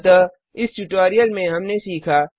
अतः इस ट्यूटोरियल में हमने सीखा